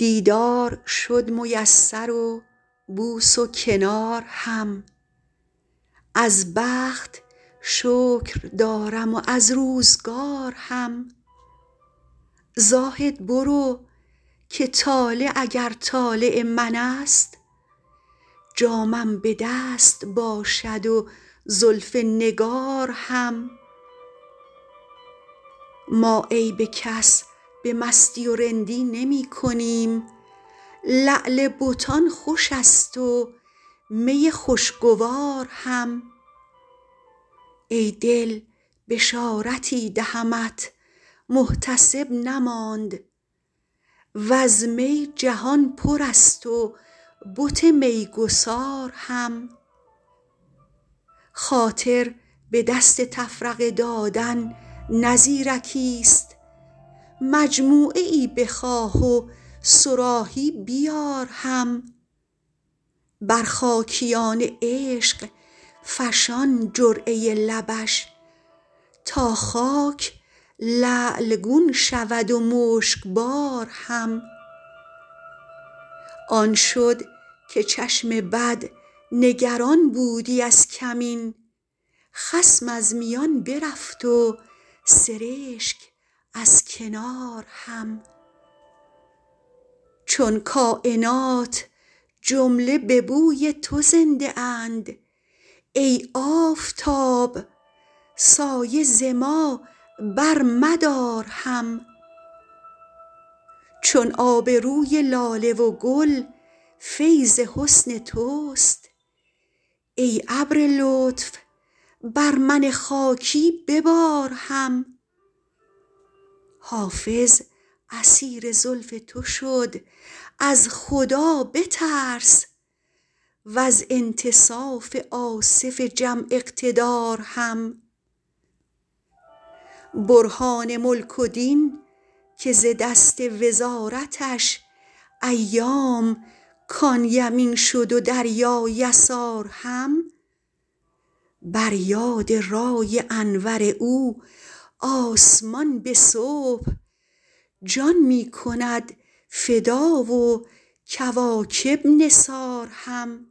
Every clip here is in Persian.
دیدار شد میسر و بوس و کنار هم از بخت شکر دارم و از روزگار هم زاهد برو که طالع اگر طالع من است جامم به دست باشد و زلف نگار هم ما عیب کس به مستی و رندی نمی کنیم لعل بتان خوش است و می خوشگوار هم ای دل بشارتی دهمت محتسب نماند و از می جهان پر است و بت میگسار هم خاطر به دست تفرقه دادن نه زیرکیست مجموعه ای بخواه و صراحی بیار هم بر خاکیان عشق فشان جرعه لبش تا خاک لعل گون شود و مشکبار هم آن شد که چشم بد نگران بودی از کمین خصم از میان برفت و سرشک از کنار هم چون کاینات جمله به بوی تو زنده اند ای آفتاب سایه ز ما برمدار هم چون آب روی لاله و گل فیض حسن توست ای ابر لطف بر من خاکی ببار هم حافظ اسیر زلف تو شد از خدا بترس و از انتصاف آصف جم اقتدار هم برهان ملک و دین که ز دست وزارتش ایام کان یمین شد و دریا یسار هم بر یاد رای انور او آسمان به صبح جان می کند فدا و کواکب نثار هم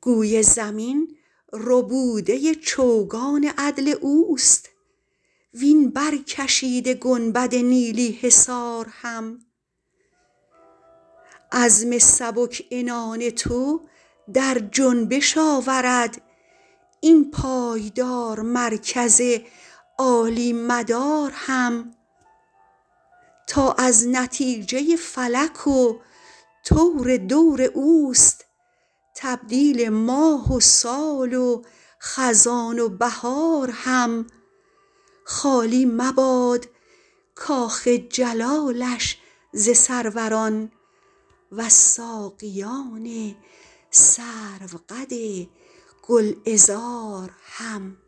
گوی زمین ربوده چوگان عدل اوست وین برکشیده گنبد نیلی حصار هم عزم سبک عنان تو در جنبش آورد این پایدار مرکز عالی مدار هم تا از نتیجه فلک و طور دور اوست تبدیل ماه و سال و خزان و بهار هم خالی مباد کاخ جلالش ز سروران و از ساقیان سروقد گلعذار هم